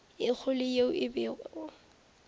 ye kgolo yeo e bego